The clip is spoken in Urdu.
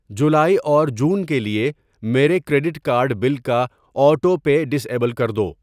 جولائی اور جون کے لیے میرے کریڈٹ کارد بل کا آٹو پے ڈسیبل کر دو۔